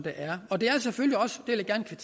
er og det